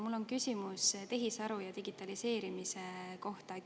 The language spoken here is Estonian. Mul on küsimus tehisaru ja digitaliseerimise kohta.